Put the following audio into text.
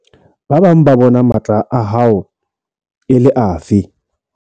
Ba bang ba bona matla a hao e le afe?